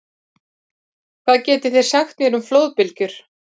Hvað getið þið sagt mér um flóðbylgjur?